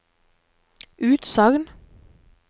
utsagn